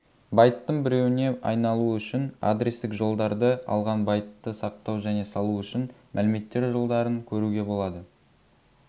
байттың біреуіне айналуы үшін адрестік жолдарды алған байтты сақтау және салу үшін мәліметтер жолдарын көруге болады